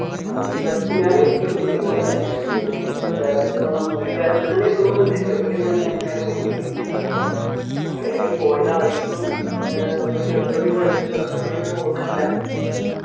ആഹ് tea factory ഞാന് ചെറുപ്പത്തിൽ പോയതാണ് ഞാന് ഇങ്ങനെ വീട്ടുകാരൊപ്പം വീട്ടുകാരൊപ്പം എന്നയ തോന്നുന്നുണ്ട് ചെറുപ്പത്തിൽ പോയതൊണ്ട് നമുക്ക് നേരെ ഓർമയില്ല അപ്പൊ അങ്ങനെ പോയതായിരുന്നു ഏർ അന്ന് ചെറുപ്പത്തിൽ പോയതാ ഇപ്പൊ വല്യ ഒരു ഓർമയില്ല